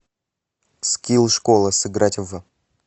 скилл школа сыграть в